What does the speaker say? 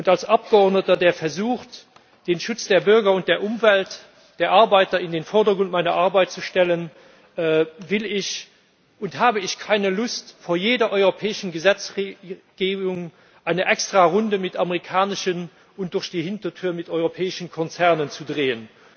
Als Abgeordneter, der versucht, den Schutz der Bürger, der Umwelt und der Arbeiter in den Vordergrund seiner Arbeit zu stellen, will ich nicht und habe ich keine Lust, vor jeder europäischen Gesetzgebung eine Extrarunde mit amerikanischen und durch die Hintertür mit europäischen Konzernen zu drehen.